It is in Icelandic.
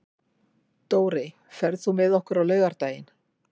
Dórey, ferð þú með okkur á laugardaginn?